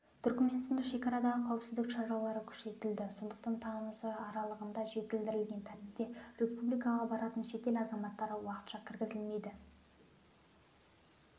түркіменстанда шекарадағы қауіпсіздік шаралары күшейтілді сондықтан тамызы аралығында жеңілдетілген тәртіпте республикаға баратын шетел азаматтары уақытша кіргізілмейді